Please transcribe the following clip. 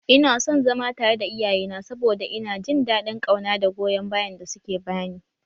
Ina son zama tare da iyayena saboda ina jin daɗin ƙauna da goyon bayan da suke bani